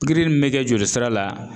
Pikiri min be kɛ joli sira la